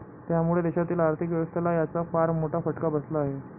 त्यामुळे देशातील आर्थिक व्यवस्थेला याचा फार मोठा फटका बसला आहे.